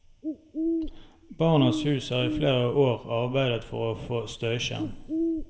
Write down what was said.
Barnas hus har i flere år arbeidet for å få støyskjerm.